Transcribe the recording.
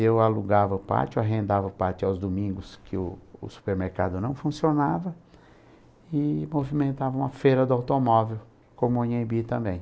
Eu alugava o pátio, eu arrendava o pátio aos domingos que o o supermercado não funcionava e movimentava uma feira do automóvel, como o Anhembi também.